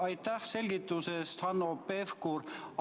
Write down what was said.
Aitäh selgituse eest, Hanno Pevkur!